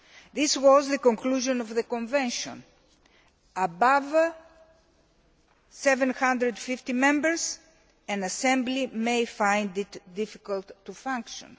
This was the conclusion of the Convention above 750 Members an Assembly may find it difficult to function.